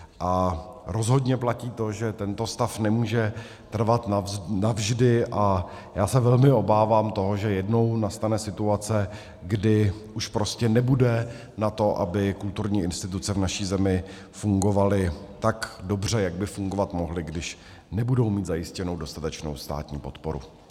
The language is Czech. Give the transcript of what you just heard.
A rozhodně platí to, že tento stav nemůže trvat navždy, a já se velmi obávám toho, že jednou nastane situace, kdy už prostě nebude na to, aby kulturní instituce v naší zemi fungovaly tak dobře, jak by fungovat mohly, když nebudou mít zajištěnou dostatečnou státní podporu.